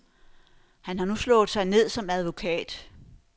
Han har nu slået sig ned som advokat.